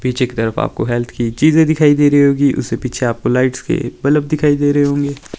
पीछे की तरफ आपको हेल्थ की चीजे दिखाई दे रही होगी उसके पीछे आपको लाइट्स के बल्ब दिखाई दे रहे होंगे--